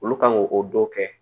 Olu kan ŋ'o o dɔ kɛ